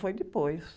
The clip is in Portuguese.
Foi depois.